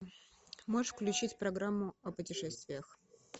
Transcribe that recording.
можешь включить программу о путешествиях